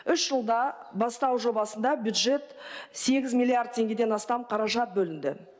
үш жылда бастау жобасында бюджет сегіз миллиард теңгеден астам қаражат бөлінді